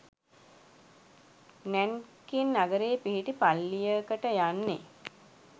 Nanking නගරයේ පිහිටි පල්ලියකට යන්නේ